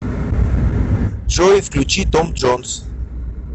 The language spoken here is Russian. джой включи том джонс